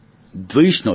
દ્વેષ નહોતો